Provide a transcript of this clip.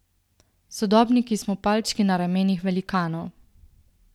Sodobniki smo palčki na ramenih velikanov!